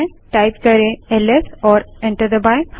LS type करें और enter दबायें